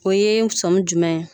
O ye sɔmi jumɛn